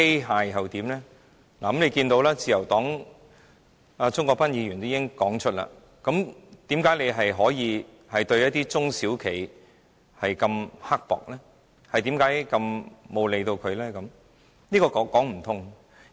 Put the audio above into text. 大家可以看到，自由黨的鍾國斌議員已經明言，為何當局可以對一些中小企如此刻薄，不予理會呢？